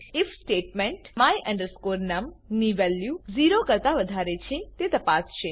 if statement my num ની value 0 કરતા વધારે છે તે તપાસશે